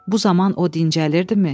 Bu zaman o dincəlirdimi?